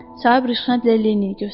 Sahib rəxnətlə Linnini göstərdi.